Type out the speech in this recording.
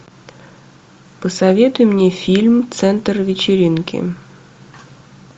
посоветуй мне фильм центр вечеринки